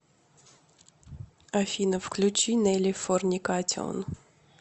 афина включи неллифорникатион